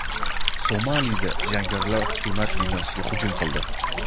Somalida jangarilar hukumat binosiga hujum qildi.